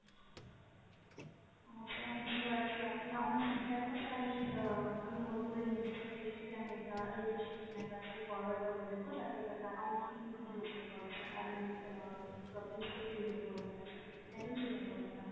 হ্যাঁ sir আমি বুঝতে পারছি, আপনি আপনার feedback টা sir আমি আহ আমি note করে নিয়েছি sir definitely আমি এটা leadership team এর কাছে forward করে দেব যাতে এটা backend team আমাদের check করে sir, আর এই আহ problems গুলো clear করে দেয় sir, একদম চিন্তা করবেন না।